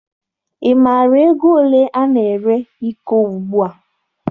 Ị maara ego ole ana ere iko ugbua?